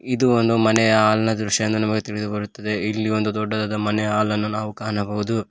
ಇದು ಒಂದು ಮನೆಯ ಹಾಲ್ನ ದೃಶ್ಯ ಎಂದು ತಿಳಿದು ಬರುತ್ತದೆ ಇಲ್ಲಿ ಒಂದು ದೊಡ್ಡದಾದ ಮನೆಯ ಹಾಲನ್ನು ನಾವು ಕಾಣಬಹುದು.